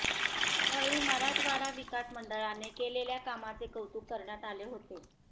त्यावेळी मराठवाडा विकास मंडळाने केलेल्या कामाचे कौतुक करण्यात आले होते